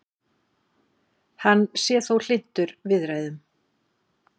Hann sé þó hlynntur viðræðum